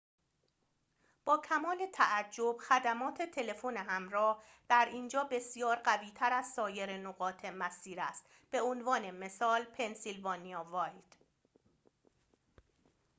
با کمال تعجب خدمات تلفن همراه در اینجا بسیار قوی تر از سایر نقاط مسیر است به عنوان مثال پنسیلوانیا وایلد